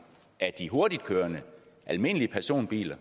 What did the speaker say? af de hurtigtkørende almindelige personbiler